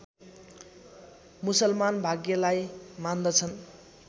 मुसलमान भाग्यलाई मान्दछन्